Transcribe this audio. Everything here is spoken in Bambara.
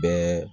Bɛɛ